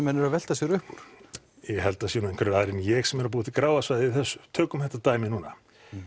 menn eru að velta sér upp úr ég held að það séu nú einhverjir aðrir en ég sem eru að búa til gráa svæðið í þessu tökum þetta dæmi núna